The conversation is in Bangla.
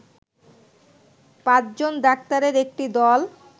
পাঁচজন ডাক্তারের একটি দল